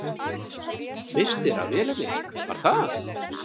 Misstir af vélinni, var það?